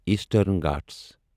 eastern Ghat